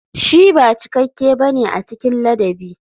Shi ba cikakke ba ne a cikin ladabi.